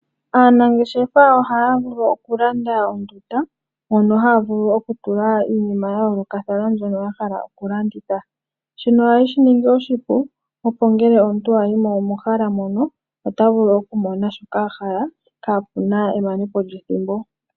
Aanangeshefa ohaya vulu okulanda mono haya vulu okutula iinima ya yoolokathana mbyono yahala okulanditha. Shino ohashi yaningile oshipu opo ngelw omuntu ayimo mehala mono otavulu okumona shoka ahala kapewa emanepo lyethimbo.